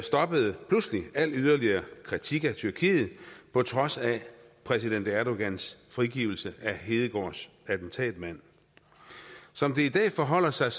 stoppede al yderligere kritik af tyrkiet på trods af præsident erdogans frigivelse af hedegaards attentatmand som det i dag forholder sig